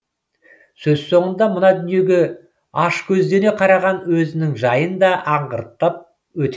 сөз соңында мына дүниеге ашкөздене қараған өзінің жайын да аңғартып өтеді